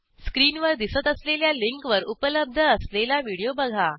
स्क्रीनवर दिसत असलेल्या लिंकवर उपलब्ध असलेला व्हिडिओ बघा